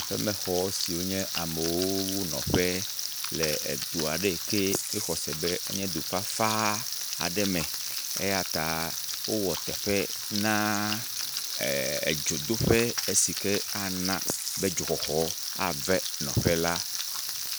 Xemexɔ siwo nye amewo ƒe nɔƒe le edu aɖe yi ke exɔ se be enye du fafa aɖe me eya ta wowɔ teƒe na dzodoƒe si ke ana be dzoxɔxɔ ave nɔƒe la